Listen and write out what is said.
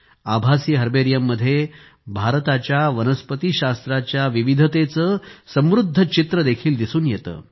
आभासी हर्बेरियममध्ये भारताच्या वनस्पतीशास्त्र विविधतेचे समृद्ध चित्र देखील दिसून येते